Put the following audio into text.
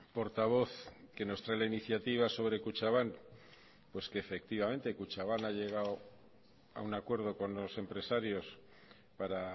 portavoz que nos trae la iniciativa sobre kutxabank pues que efectivamente kutxabank ha llegado a un acuerdo con los empresarios para